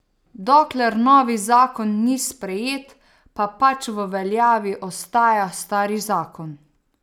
Dokler novi zakon ni sprejet pa pač v veljavi ostaja stari zakon.